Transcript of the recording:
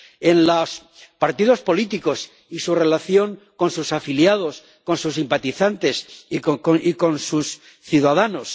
en los partidos políticos y su relación con sus afiliados, con sus simpatizantes y con sus ciudadanos.